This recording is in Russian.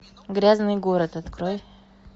грязный город открой